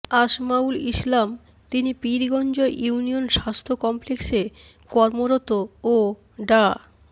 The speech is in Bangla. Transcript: আসমাউল ইসলাম তিনি পীরগঞ্জ ইউনিয়ন স্বাস্থ্য কমপ্লেক্স কর্মরত ও ডা